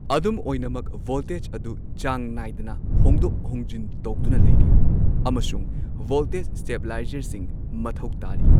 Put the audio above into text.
ꯑꯗꯨꯝ ꯑꯣꯏꯅꯃꯛ, ꯚꯣꯜꯇꯦꯖ ꯑꯗꯨ ꯆꯥꯡ ꯅꯥꯏꯗꯅ ꯍꯣꯡꯗꯣꯛ ꯍꯣꯡꯖꯤꯟ ꯇꯧꯗꯨꯅ ꯂꯩꯔꯤ ꯑꯃꯁꯨꯡ ꯚꯣꯜꯇꯦꯖ ꯁ꯭ꯇꯦꯕꯤꯂꯥꯏꯖꯔꯁꯤꯡ ꯃꯊꯧ ꯇꯥꯔꯤ꯫